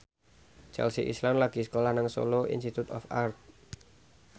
Chelsea Islan lagi sekolah nang Solo Institute of Art